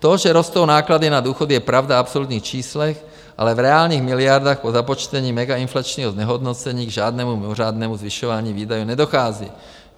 To, že rostou náklady na důchody, je pravda v absolutních číslech, ale v reálných miliardách po započtení megainflačního znehodnocení k žádnému mimořádnému zvyšování výdajů nedochází.